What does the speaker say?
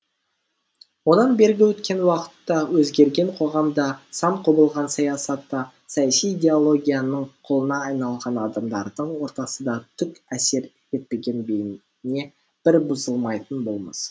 одан бергі өткен уақыт та өзгерген қоғам да сан құбылған саясат та саяси идеологияның құлына айналған адамдардың ортасы да түк әсер етпеген бейне бір бұзылмайтын болмыс